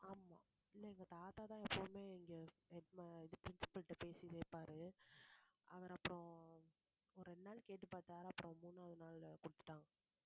ஆமா இல்லை எங்க தாத்தாதான் எப்பவுமே இங்கே head ma~ principal ட்ட பேசிட்டே இருப்பாரு அவர் அப்புறம் ஒரு இரண்டு நாள் கேட்டுப்பார்த்தார் அப்புறம் மூணாவது நாள் கொடுத்துட்டான்